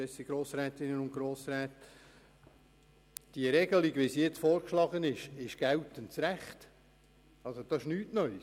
Die momentan vorgeschlagene Regelung entspricht dem geltenden Recht, das ist nichts Neues.